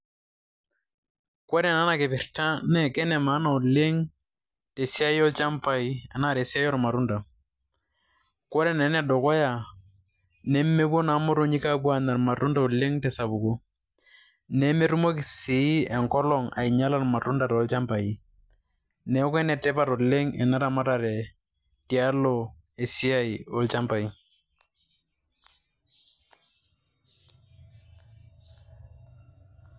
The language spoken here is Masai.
Kore naa ena kipirta naa ke ne maana oleng' tesiai olchambai anaa tesiai ormatunda. Kore naa ene dukuya, nemepuo naa imotonyik aapuo aanya irmatunda oleng' te sapuko, nemetumoki sii enkolong' ainyala irmatunda toolchambai. Neeku enetipat oleng' ena ramaratare tialo esiai olchambai.